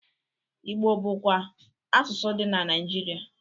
Igbo bụkwa asụsụ dị na Naịjirịa.